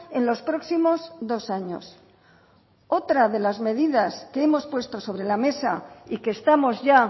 en los próximos dos años otra de las medidas que hemos puesto sobre la mesa y que estamos ya